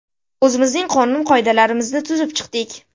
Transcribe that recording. O‘zimizning qonun-qoidalarimizni tuzib chiqdik.